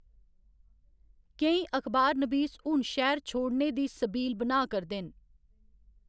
केईं अखबारनबीस हून शैह्‌र छोड़ने दी सबील बनाऽ करदे न।